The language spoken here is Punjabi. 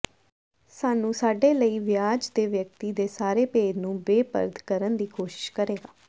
ਸਾਨੂੰ ਸਾਡੇ ਲਈ ਵਿਆਜ ਦੇ ਵਿਅਕਤੀ ਦੇ ਸਾਰੇ ਭੇਦ ਨੂੰ ਬੇਪਰਦ ਕਰਨ ਦੀ ਕੋਸ਼ਿਸ਼ ਕਰੇਗਾ